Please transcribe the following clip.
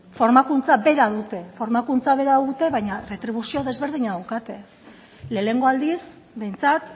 formakuntza bera dute formakuntza bera dute baina erretribuzio desberdina daukate lehenengo aldiz behintzat